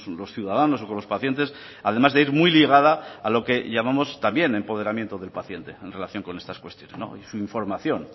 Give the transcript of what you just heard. los ciudadanos o con los pacientes además de ir muy ligada a lo que llamamos también empoderamiento del paciente en relación con estas cuestiones su información